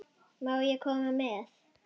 Má ég koma með?